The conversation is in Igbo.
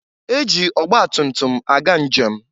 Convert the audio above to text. E ji ọgba tumtum aga njem.